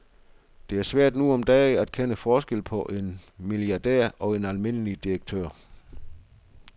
Det er svært nu om dage at kende forskel på en milliardær og en almindelig direktør.